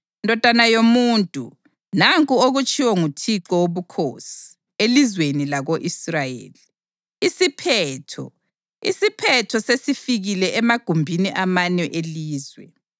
“Ndodana yomuntu, nanku okutshiwo nguThixo Wobukhosi elizweni lako-Israyeli: ‘Isiphetho! Isiphetho sesifikile emagumbini amane elizwe.